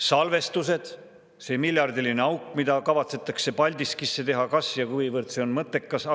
Salvestused, see miljardiline auk, mida kavatsetakse Paldiskisse teha, kas ja kuivõrd see on mõttekas?